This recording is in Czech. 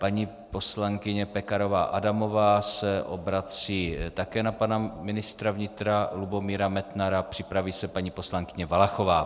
Paní poslankyně Pekarová Adamová se obrací také na pana ministra vnitra Lubomíra Metnara, připraví se paní poslankyně Valachová.